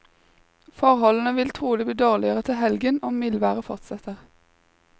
Forholdene vil trolig bli dårligere til helgen om mildværet fortsetter.